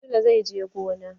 Sule zai je gona.